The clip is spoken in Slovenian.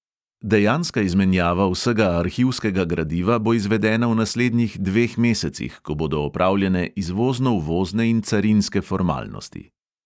Dejanska izmenjava vsega arhivskega gradiva bo izvedena v naslednjih dveh mesecih, ko bodo opravljene izvozno-uvozne in carinske formalnosti.